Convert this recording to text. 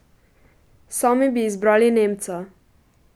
Sami bi izbrali nemca.